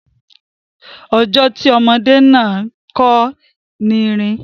Ọjọ́ tí ọmọdé náàró kọ́ ni í rìn.